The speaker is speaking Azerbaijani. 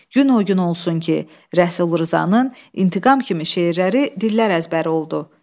Gün o gün olsun ki, Rəsul Rzanın İntiqam kimi şeirləri dillər əzbəri oldu.